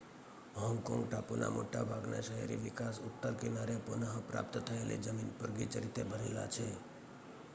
Hong Kong ટાપુના મોટા ભાગના શહેરી વિકાસ ઉત્તર કિનારે પુનઃ પ્રાપ્ત થયેલી જમીન પર ગીચ રીતે ભરેલા છે